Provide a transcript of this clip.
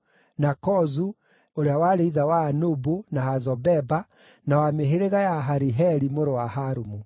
na Kozu, ũrĩa warĩ ithe wa Anubu, na Hazobeba, na wa mĩhĩrĩga ya Ahariheli mũrũ wa Harumu.